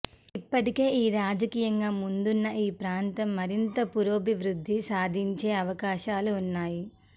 ఇప్పటికే రాజకీయంగా ముందున్న ఈ ప్రాంతం మరింత పురోభివృద్ధి సాధించే అవకాశాలు ఉన్నాయి